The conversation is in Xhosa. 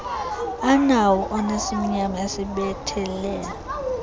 anawo onesimnyama esibethelelwe